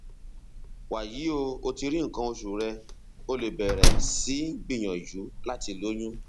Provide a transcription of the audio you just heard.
wàyí o o ti rí nǹkan oṣù rẹ o lè bẹrẹ sí gbìyànjú láti lóyún